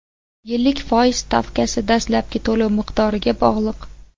Yillik foiz stavkasi dastlabki to‘lov miqdoriga bog‘liq.